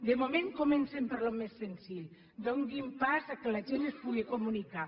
de moment comencin pel més senzill donin pas que la gent s’hi puguin comunicar